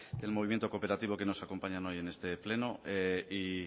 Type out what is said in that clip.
del movimiento cooperativo que nos acompañan hoy en este pleno y